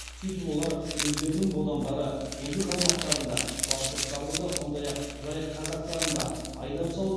сөйтіп олар өздерінің бодандары еділ қалмақтарын да башқұрттарды да сондай ақ жайық казактарын да айдап салып